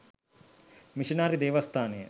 missionary දේවස්ථානය